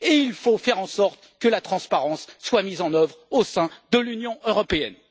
Il faut faire en sorte que la transparence soit mise en œuvre au sein de l'Union européenne.